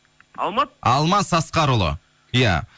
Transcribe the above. алмат алмас асқарұлы иә